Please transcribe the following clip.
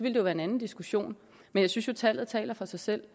jo være en anden diskussion men jeg synes at tallet taler for sig selv